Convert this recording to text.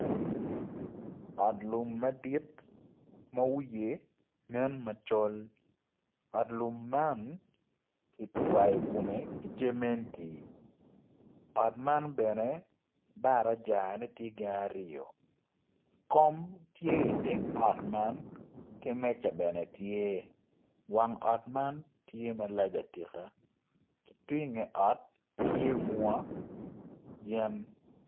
Ot lum madit ma wiye nen macol ot lum man ki gwayo kume ki cementi ot man bene barajane tye aryo kom tye iteng ot man ki meja bene tye wang ot man tye malac atika ki tung inge ot tye bunga yen